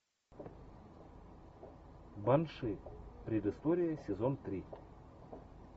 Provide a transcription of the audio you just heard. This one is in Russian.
банши предыстория сезон три